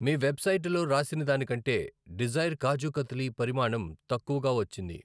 మీ వెబ్సైటులో రాసినదానికంటే డిజైర్ కాజు కత్లీ పరిమాణం తక్కువగా వచ్చింది.